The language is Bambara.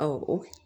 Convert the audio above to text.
Ɔ o